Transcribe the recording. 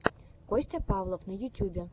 костя павлов на ютюбе